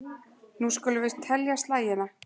Nú skulum við telja slagina.